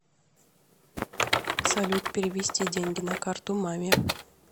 салют перевести деньги на карту маме